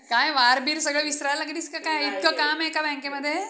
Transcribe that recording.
अं कोण्या bank मध्ये दीदी? मध्यवर्तीका?